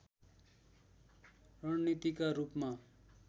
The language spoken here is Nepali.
रणनीतिका रूपमा